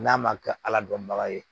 N'a ma kɛ ala dɔnbaga ye